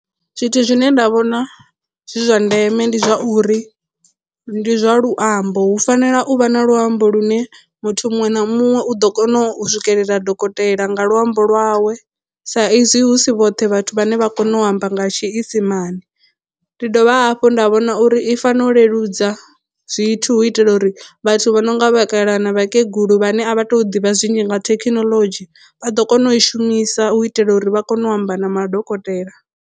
Zwithu zwine nda vhona zwi zwa ndeme ndi zwa uri ndi zwa luambo hu fanela u vha na luambo lu ne muthu muṅwe na muṅwe u ḓo kona u swikelela dokotela nga luambo lwawe sa izwi hu si vhoṱhe vhathu vhane vha kone u amba nga tshiisimani. Ndi dovha hafhu nda vhona uri i fanela u leludza zwithu hu itela uri vhathu vha no nga vhakalaha na vhakegulu vhane a vha tu ḓivha zwinzhi nga thekhinolodzhi vha ḓo kona u i shumisa u itela uri vha kone u amba na madokotela.